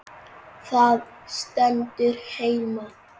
Það stendur heima.